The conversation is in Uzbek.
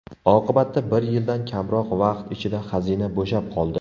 Oqibatda, bir yildan kamroq vaqt ichida xazina bo‘shab qoldi.